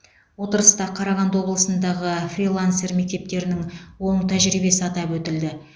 отырыста қарағанды облысындағы фрилансер мектептерінің оң тәжірибесі атап өтілді